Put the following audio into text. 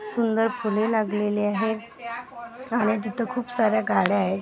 सुंदर फुले लागलेली आहेत आणि तिथे खूप साऱ्या गाड्या आहेत.